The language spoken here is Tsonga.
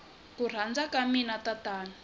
ku rhandza ka mina tatana